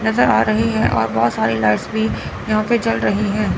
नजर आ रहे है और बहोत सारी लाइट्स भी यहां पे जल रही है।